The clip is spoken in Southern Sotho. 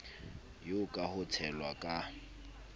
eo ka ho tshelwa ka